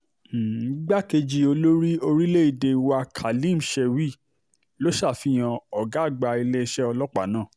um igbákejì olórí orílẹ̀‐èdè wa khalim shewil̗ um ló ṣàfihàn ọ̀gá àgbà iléeṣẹ́ ọlọ́pàá náà